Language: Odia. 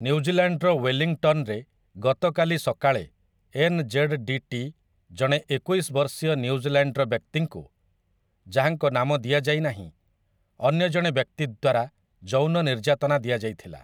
ନ୍ୟୁଜିଲ୍ୟାଣ୍ଡ୍‌ର ୱେଲିଂଟନ୍‌ରେ ଗତକାଲି ସକାଳେ ଏନ୍.ଜେଡ଼୍.ଡି.ଟି. ଜଣେ ଏକୋଇଶ ବର୍ଷୀୟ ନ୍ୟୁଜିଲ୍ୟାଣ୍ଡ୍‌ର ବ୍ୟକ୍ତିଙ୍କୁ, ଯାହାଙ୍କ ନାମ ଦିଆ ଯାଇନାହିଁ, ଅନ୍ୟ ଜଣେ ବ୍ୟକ୍ତି ଦ୍ୱାରା ଯୌନ ନିର୍ଯାତନା ଦିଆଯାଇଥିଲା ।